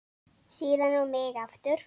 Síðan á mig aftur.